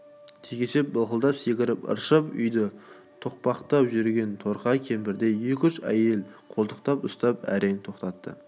текеше бақылдап секіріп ыршып үйді тоқпақтап жүрген торқа кемпірді екі-үш әйел қолтықтап ұстап әрең тоқтатты